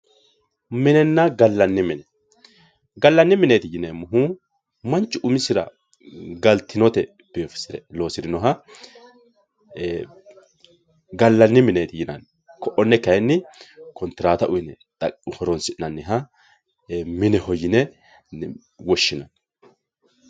Minena galani mine galani mineet yineemohu manchu umisira galtinote biifisire loosirinoha galani mineet yinani ko`one kayini kontirata uyiine horonsinaniha mineho yine woshinani